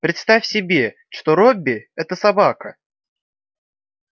представь себе что робби это собака